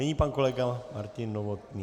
Nyní pan kolega Martin Novotný.